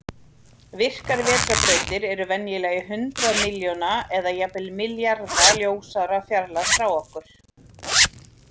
Virkar vetrarbrautir eru venjulega í hundrað milljón eða jafnvel milljarða ljósára fjarlægð frá okkur.